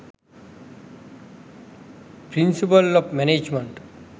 principle of management